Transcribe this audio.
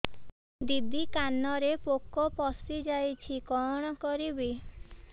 ଦିଦି କାନରେ ପୋକ ପଶିଯାଇଛି କଣ କରିଵି